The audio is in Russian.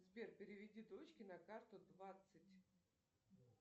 сбер переведи дочке на карту двадцать